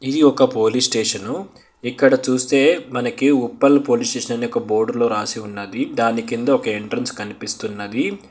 ఇది ఒక police station ఇక్కడ చూస్తే మనకి ఉప్పల్ పోలీస్ స్టేషన్ అనే ఒక బోర్డులో రాసి ఉన్నది దాని కింద ఒక ఎంట్రన్స్ కనిపిస్తున్నది.